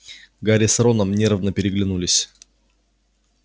гарри с роном нервно переглянулись